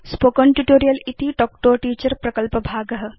spoken tutorial इति talk to a teacher प्रकल्पभाग